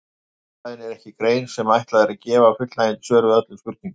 Hagfræðin er ekki grein sem ætlað er að gefa fullnægjandi svör við öllum spurningum.